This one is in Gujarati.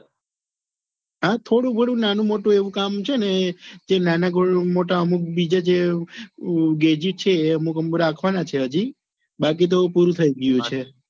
હા થોડું ગણું નાનું મોટું એવું કામ છે ને તે નાના મોટા અમુક બીજા જે જે અમુક રાખવાના છે હજી બાકી તો પૂરું થઈ ગયું છે.